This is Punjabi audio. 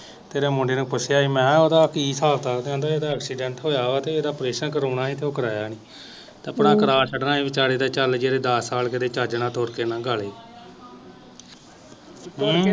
ਤੇਰੇ ਮੁੰਡੇ ਨੂੰ ਪੁੱਛਿਆ ਹੀ ਮੈਂ ਕਿਹਾ ਉਦਾ ਕਿ ਹਿਸਾਬ ਕਿਤਾਬ ਕਹਿੰਦਾ ਏਦਾ ਐਕਸੀਡੈਂਟ ਹੋਇਆ ਵਾ ਤੇ ਏਦਾ ਓਪਰੇਸ਼ਨ ਕਰਾਉਣਾ ਹੀ ਤੇ ਉਹ ਕਰਾਇਆ ਨੀ ਤੇ ਪਰਾਂ ਕਰਾ ਛੱਡਣਾ ਹੀ ਵਿਚਾਰੇ ਦਾ ਚੱਲ ਜਿਹੜੇ ਦੱਸ ਸਾਲ ਜਿਹੜੇ ਚਾਜ ਨਾਲ ਤੁਰ ਕ ਲੰਗਾਲੇ ਹੂੰ